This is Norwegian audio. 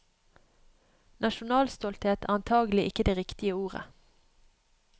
Nasjonalstolthet er antagelig ikke det riktige ordet.